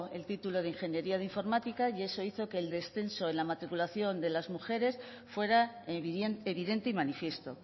el título de ingeniería de informática y eso hizo que el descenso en la matriculación de la mujeres fuera evidente y manifiesto